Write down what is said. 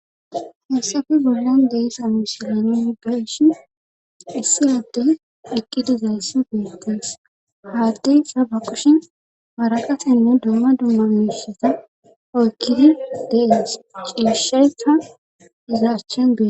hessafi bollon deyssa musileni ibeshin issi addey eqqidizayssi giistees haaddey saba qushin maraqasinne dumma dumma miisheta oykkide dees ciisheyka izaaschen bee